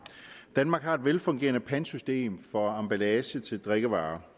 danmark har et velfungerende pantsystem for emballage til drikkevarer